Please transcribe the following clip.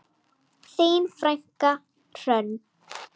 Þín frænka Hrönn.